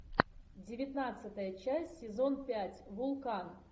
девятнадцатая часть сезон пять вулкан